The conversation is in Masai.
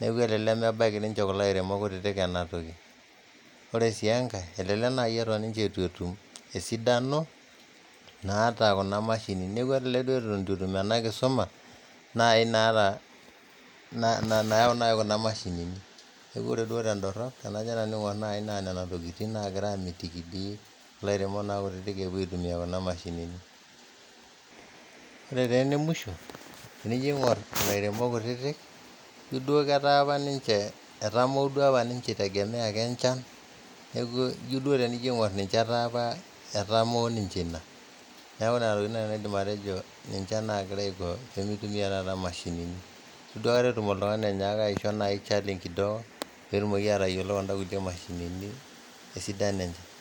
neaku eeta lemebaki ninche kulo lairemok kutitik ena toki, ore sii enkae elelek naii eton ninche eitu etum esidano naaata kuna mashinini, neaku elelek duo eton etum ena inkisuma naaii nayau kuna imashinini ,neaku ore duo tendorop tanajo nanu aing'or naa nenia tukitin naagira aamitiki dei lairemok kutitik eepo aitumiyaa kuna mashinini, ore taa enemwisho tenijo aing'orr ilairemok kutiti ijo doi ketaa apa ninche etauoo dei apa ninche eitegemeya ake enchan naaku ijo dei teniin'orr ninche etaa apa etamoo ninche ina, naaku nenia tokitin nai aidim atojo naagira aiko pemeitumiya taata nena, neitu aikata etum oltungani oinyaaka aicho enaii challenge kidogo peetumoki atoyolo kunda kutii mashinini osidan enche. kidogo